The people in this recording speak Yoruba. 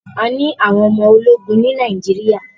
A ní àwọn ọmọ ológun ní Nàíjíríà.